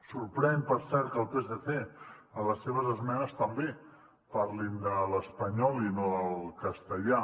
sorprèn per cert que el psc en les seves esmenes també parlin de l’espanyol i no del castellà